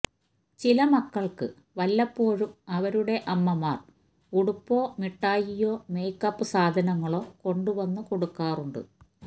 ചില മക്കള്ക്ക് വല്ലപ്പോഴും അവരുടെ അമ്മമാര് ഉടുപ്പോ മിഠായിയോ മേക്അപ്പ് സാധനങ്ങളോ കൊണ്ടുവന്നു കൊടുക്കാറുണ്ട്